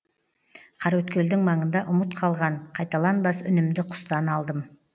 қараөткелдің маңында ұмыт қалған қайталанбас үнімді құстан алдым